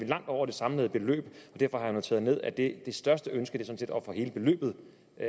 langt over det samlede beløb derfor har jeg noteret ned at det største ønske at få hele beløbet